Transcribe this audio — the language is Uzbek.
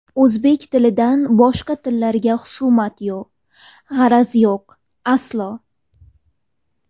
O‘zbek tilidan boshqa tillarga xusumat yo g‘araz yo‘q, aslo.